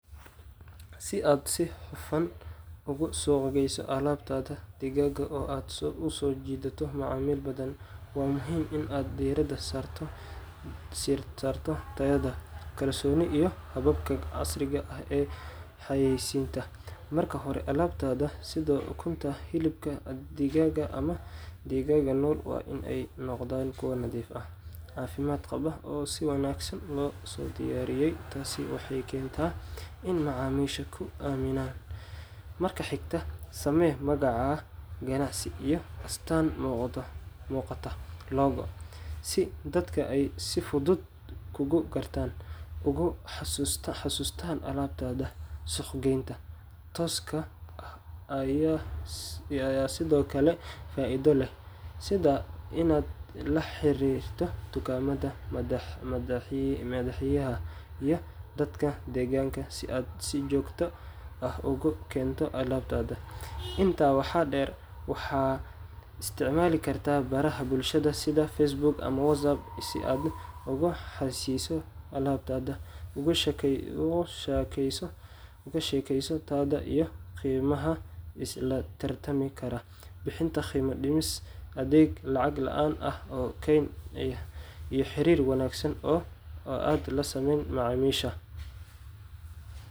Si aad si hufan ugu suuq geyso alaabtaada digaaga oo aad u soo jiidato macaamiil badan, waa muhiim in aad diirada saarto tayada, kalsoonida iyo hababka casriga ah ee xayaysiinta. Marka hore, alaabtaada sida ukunta, hilibka digaaga ama digaagga nool waa in ay noqdaan kuwo nadiif ah, caafimaad qaba, oo si wanaagsan loo soo diyaariyay. Taasi waxay keentaa in macaamiishu ku aaminaan. Marka xigta, samee magaca ganacsi iyo astaan muuqata logo si dadka ay si fudud kuugu gartaan, uguna xasuustaan alaabtaada. Suuq-geynta tooska ah ayaa sidoo kale faa’iido leh, sida inaad la xiriirto dukaamada, maqaaxiyaha, iyo dadka deegaanka si aad si joogto ah ugu keento alaabtaada. Intaa waxaa dheer, waxaad isticmaali kartaa baraha bulshada sida Facebook ama WhatsApp si aad u xayaysiiso alaabtaada, uga sheekayso tayada iyo qiimaha la tartami kara. Bixinta qiimo dhimis, adeeg lacag la’aan ah oo geyn ah, iyo xiriir wanaagsan oo aad la sameyn macaamiisha.